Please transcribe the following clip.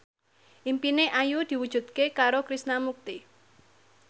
impine Ayu diwujudke karo Krishna Mukti